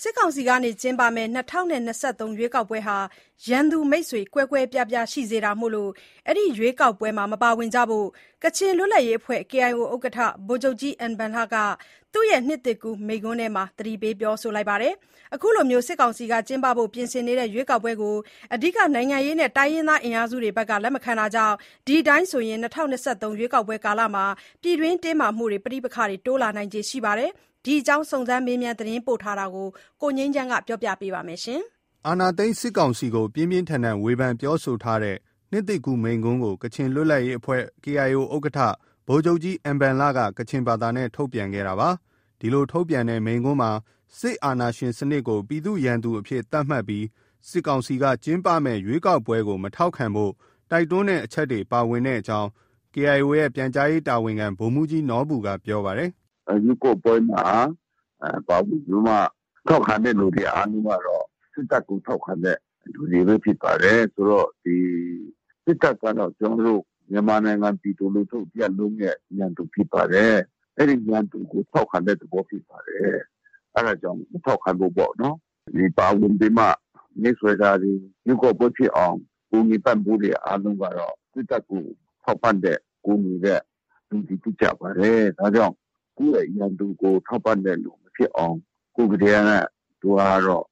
စစ်ကောင်စီကကျင်းပမယ့် ၂၀၂၃ ရွေးကောက်ပွဲဟာ ရန်သူ မိတ်ဆွေ ကွဲကွဲပြားပြားရှိစေဖို့ ဒီရွေးကောက်ပွဲမှာမပါဝင်ကြဖို့ ကချင်လွတ်လပ်ရေးအဖွဲ့ KIO ဥက္ကဋ္ဌ ဗိုလ်ချုပ်ကြီး အင်ဘန်လက သူရဲ့နှစ်သစ်ကူးမိန့်ခွန်းထဲမှာ သတိပေးထားပါတယ်။ အခုလို စစ်ကောင်စီကပြင်ဆင်နေတဲ့ ရွေးကောက်ပွဲကို အဓိကနိုင်ငံရေးနဲ့တိုင်းရင်းသားအင်အားစုတွေက လက်မခံတာကြောင့် ဒီအတိုင်းဆိုရင် ၂၀၂၃ ရွေးကောက်ပွဲကာလမှာ ပြည်တွင်းတင်းမာမှုတွေ၊ ပဋိပက္ခတွေ တိုးလာနိုင်ခြေရှိပါတယ်။ ဒီအကြောင်း စုံစမ်းမေးမြန်းသတင်းပေးပို့ချက်ကို ကိုငြိမ်းချမ်းက တင်ပြပေးထားပါတယ်။ အာဏာသိမ်းစစ်ကောင်စီကို ပြင်းပြင်းထန်ထန်ဝေဖန်ပြောဆိုထားတဲ့ နှစ်သစ်ကူးမိန့်ခွန်းကို ကချင်လွတ်လပ်ရေးအဖွဲ့ KIO ဥက္ကဋ္ဌ ဗိုလ်ချုပ်ကြီး အင်ဘန်လက ကချင်ဘာသာနဲ့ ထုတ်ပြန်ခဲ့တာပါ။ ဒီလို ထုတ်ပြန်တဲ့မိန့်ခွန်းမှာ စစ်အာဏာရှင်စနစ်ကို ပြည်သူ့ရန်သူအဖြစ် သတ်မှတ်ပြီး စစ်ကောင်စီက ကျင်းပမယ့် ရွေးကောက်ပွဲကိုမထောက်ခံဖို့ တိုက်တွန်းတဲ့အချက်တွေ ပါဝင်ကြောင်း KIO ရဲ့ ပြန်ကြားရေးတာဝန်ခံ ဗိုလ်မှူးကြီးနော်ဘူက ပြောပါတယ်။ “ ရွေးကောက်ပွဲမှာပါဝင်ပြီးမှ ထောက်ခံတဲ့သူတွေအားလုံးကတော့ စစ်တပ်ကို ထောက်ခံတဲ့သူတွေပဲ ဖြစ်ပါတယ်။ ဆိုတော့ ဒီ စစ်တပ်ကတော့ မြန်မာနိုင်ငံပြည်သူလူထုတရပ်လုံးရဲ့ ရန်သူဖြစ်ပါတယ်။ အဲဒီရန်သူကို ထောက်ခံတဲ့သဘောဖြစ်ပါတယ်။ အဲဒါကြောင့် မထောက်ခံဖို့ပေါ့နော်။ ပါဝင်ပြီးမှ မဲဆွယ်တောတွေ၊ ရွေးကောက်ပွဲဖြစ်အောင် ကူညီပံ့ပိုးတာတွေ အားလုံးကတော့ စစ်တပ်ကို ထောက်ပံ့တဲ့၊ ကူညီတဲ့ လူတွေဖြစ်ကြပါတယ်။ ဒါကြောင့်ကိုယ့်ရဲ့ ရန်သူကို ထောက်ပံ့တဲ့သူမဖြစ်အောင်။ ခုတည်းက သူကတော့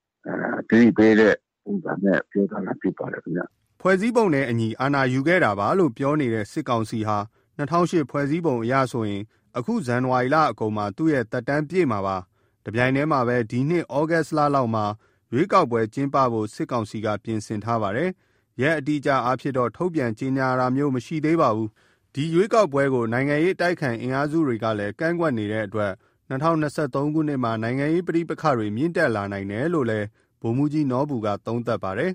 သတိပေးတဲ့ ပုံစံနဲ့ ပြောသွားတာဖြစ်ပါတယ်ခင်ဗျ။” ဖွဲ့စည်းပုံနဲ့အညီ အာဏာယူခဲ့တာပါလို့ ပြောနေတဲ့ စစ်ကောင်စီဟာ ၂၀၀၈ ဖွဲ့စည်းပုံအရဆိုရင် အခု ဇန်နဝါရီလအကုန်မှာ သူ့ သက်တမ်းပြည့်မှာပါ။ တပြိုင်တည်းမှာလည်းပဲ ဒီနှစ် သြဂုတ်လလောက်မှာ ရွေးကောက်ပွဲကျင်းပဖို့ စစ်ကောင်စီက ပြင်ဆင်ထားပါတယ်။ အတိအအကျရက်အားဖြင့်တော့ ထုတ်ပြန်ကြေညာတာမျိုးမရှိသေးပါဘူး။ ဒီရွေးကောက်ပွဲကို နိုင်ငံရေးအတိုက်အခံအင်အားစုတွေကလည်း ကန့်ကွက်နေတဲ့အတွက် ၂၀၂၃ ခုနှစ်မှာ နိုင်ငံရေးပဋိပက္ခတွေ မြင့်တက်လာနိုင်တယ်လို့လည်း ဗိုလ်မှူးကြီးနော်ဘူက သုံးသပ်ပါတယ်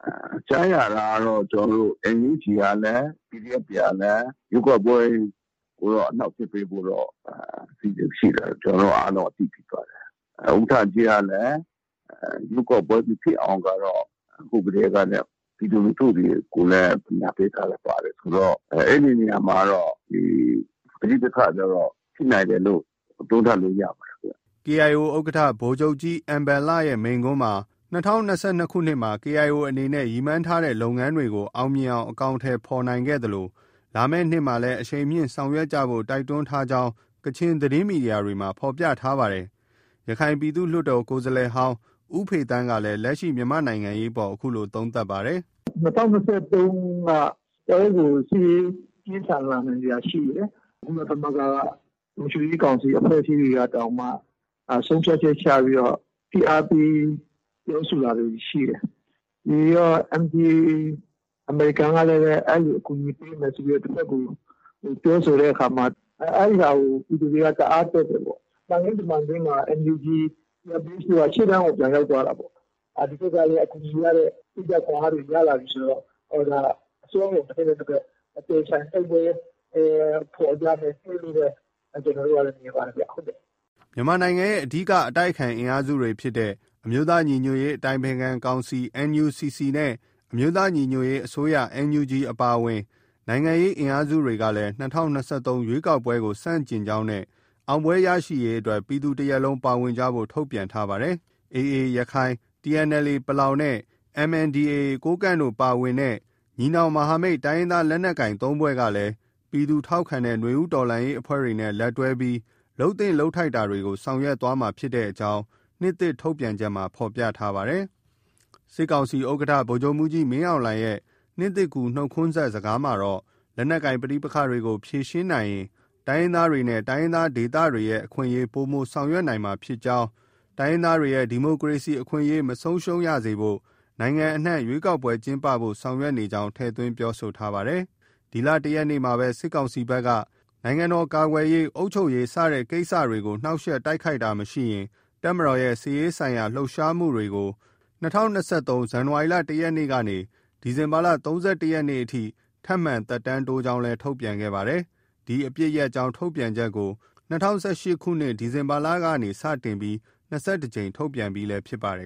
။ “ ကြားရတာကတော့ NUG ကလည်း၊ PDF တွေကလည်း ရွေးကောက်ပွဲကိုတော့အနှောင့်အယှက်ပေးဖို့ အစီအစဉ်ရှိတယ်ဆိုတာ ကျနော်တို့အားလုံး အသိဖြစ်ပါတယ်။ ဥက္ကဋ္ဌကြီးကလည်း ရွေးကောက်ပွဲမဖြစ်အောင်ကတော့ ခုကတည်းကနေ ပြည်သူလူထုကိုလည်း ပညာပေးထားတာပါတယ်ဆိုတော့ အဲဒီနေရာမှာကတော့ ပဋိပက္ခတွေကတော့ ဖြစ်နိုင်တယ်လို့ သုံးသပ်လို့ ရပါတယ်ဗျ။” KIO ဥက္ကဋ္ဌ ဗိုလ်ချုပ်ကြီး အင်ဘန်လရဲ့မိန့်ခွန်းမှာ ၂၀၂၂ ခုနှစ်မှာ KIO အနေနဲ့ ရည်မှန်းထားတဲ့လုပ်ငန်းတွေကို အောင်မြင်အောင် အကောင်အထည်ဖော်နိုင်ခဲ့သလို လာမယ့်နှစ်မှာလည်း အရှိန်မြှင့်ဆောင်ရွက်ကြဖို့ တိုက်တွန်းထားကြောင်းလည်း ကချင်သတင်းမီဒီယာတွေမှာ ဖော်ပြထားပါတယ်။ ရခိုင်ပြည်သူ့လွှတ်တော်ကိုယ်စားလှယ်ဟောင်း ဦးဖေသန်းကလည်း လက်ရှိမြန်မာ့နိုင်ငံရေးအပေါ် အခုလို သုံးသပ်ပါတယ်။ “ ၂၀၂၃ က တော်တော်ကို စစ်ရေး ပြင်းထန်လာနိုင်စရာရှိတယ်။ ကုလသမဂ္ဂက လုံခြုံရေးကောင်စီအဖွဲ့အစည်းတွေကတောင်မှ ဆုံးဖြတ်ချက်ချပြီး ဖိအားပေးပြောဆိုတာတွေ ရှိတယ်။ ပြီးတော့ NDAA အမေရိကန်ကလည်း အဲလို အကူအညီပေးမယ်ဆို တဘက်ကို ပြောဆိုတဲ့အခါမှာ အဲဒီဟာကို ပြည်သူတွေက တအားတက်တယ်ပေါ့။ သံခင်းတမန်ခင်း NUG CRPH တို့က ရှေ့တန်းကို ပြန်ရောက်သွားတာပေါ့။ ဒီဘက်ကလည်း အကူအညီရတယ်၊ စိတ်ဓါတ်ခွန်အားတွေ ရလာပြီဆိုတော့ အစွမ်းကုန် တဘက်နဲ့ တဘက် အပြိုင်အဆိုင် တိုက်ပွဲ ဖော်ကြမယ့်နှစ်လို့ ကျနော်တို့က မြင်ပါတယ်ဗျ။” မြန်မာနိုင်ငံရဲ့ အဓိကအတိုက်အခံအင်အားစုဖြစ်တဲ့ အမျိုးသားညီညွတ်ရေး အတိုင်ပင်ခံကောင်စီ NUCC နဲ့ အမျိုးသားညီညွတ်ရေးအစိုးရ NUG အပါအဝင် နိုင်ငံရေးအင်အားစုတွေကလည်း ၂၀၂၃ ရွေးကောက်ပွဲကို ဆန့်ကျင်ကြောင်းနဲ့ အောင်ပွဲရရှိရေးအတွက် ပြည်သူတရပ်လုံးပါဝင်ကြဖို့ ထုတ်ပြန်ထားပါတယ်။ AA ရခိုင်၊ TNLA ပလောင်နဲ့ MNDAA ကိုးကန့်တို့ပါဝင်တဲ့ ညီနောင်မဟာမိတ် တိုင်းရင်းသားလက်နက်ကိုင် ၃ ဖွဲ့က ပြည်သူထောက်ခံတဲ့ နွေဦးတော်လှန်ရေးအဖွဲ့တွေနဲ့ လက်တွဲပြီး လုပ်သင့်လုပ်ထိုက်တာတွေ ဆောင်ရွက်သွားမှာဖြစ်ကြောင်း နှစ်သစ်ထုတ်ပြန်ချက်မှာ ဖော်ပြထားပါတယ်။ စစ်ကောင်စီဥက္ကဋ္ဌ ဗိုလ်ချုပ်မှူးကြီးမင်းအောင်လှိုင်ရဲ့ နှစ်သစ်ကူးနှုတ်ခွန်းဆက်စကားမှာတော့ လက်နက်ကိုင်ပဋိပက္ခတွေကို ဖြေရှင်းနိုင်ရင် တိုင်းရင်းသားတွေနဲ့ တိုင်းရင်းသားဒေသတွေရဲ့ အခွင့်အရေး ပိုမိုဆောင်ရွက်နိုင်မှာဖြစ်ကြောင်း၊ တိုင်းရင်းသားတွေရဲ့ ဒီမိုကရေစီအခွင့်အရေးမဆုံးရှုံးစေဖို့ နိုင်ငံအနှံ့ ရွေးကောက်ပွဲကျင်းပဖို့ ဆောင်ရွက်နေကြောင်း ထည့်သွင်းပြောဆိုထားပါတယ်။ ဒီလ ၁ ရက်နေ့မှာပဲ စစ်ကောင်စီဘက်က နိုင်ငံတော်ကာကွယ်ရေး၊ အုပ်ချုပ်ရေး စတဲ့ ကိစ္စတွေကို နှောင့်ယှက်တိုက်ခိုက်တာမရှိရင် တပ်မတော်ရဲ့ စစ်ရေးဆိုင်ရာလှုပ်ရှားမှုတွေကို ၂၀၂၃ ဇန်နဝါရီလ ၁ ရက်နေ့ကနေ ဒီဇင်ဘာလ ၃၁ ရက်နေ့ထိ ထပ်မံ သက်တမ်းတိုးကြောင်း ထုတ်ပြန်ခဲ့ပါတယ်။ ဒီအပစ်ရပ်ကြောင်း ထုတ်ပြန်ချက်ကို ၂၀၁၈ ခုနှစ် ဒီဇင်ဘာလကနေ စတင်ပြီး ၂၁ ကြိမ် ထုတ်ပြန်ပြီးလည်း ဖြစ်ပါတယ်